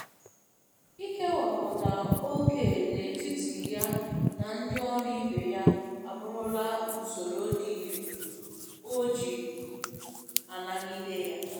Ikewapụta ókè n'etiti ya na ndị ọrụ ibe ya abụrụla usoro dị irè o ji a nagide ya.